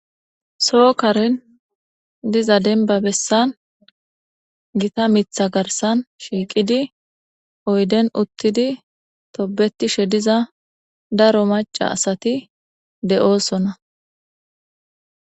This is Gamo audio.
sookaren diza denba bessan gita mitha garsan shiiqidi oyden uttidi tobetishe diza daro maca asati de7oosona